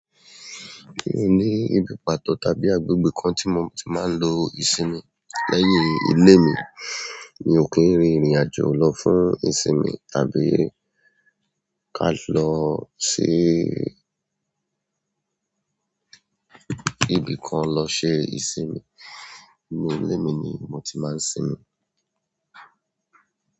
I ǹ ní nǹkankan pàtó tàbí agbègbè kan tí mo ti máa ń lo ìsinmi lẹ́yìn ilé mi. Mi ò kí ń rí ìrìn àjò lọ fún ìsinmi tàbí ká lọ sí ibi kan lọ ṣe ìsinmi. Nínú ilé mi ni mo ti máa ń sinmi.